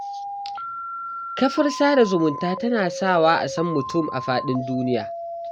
kafar sada zumunta tana sawa a san mutum a faɗin duniya.